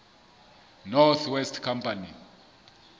north west company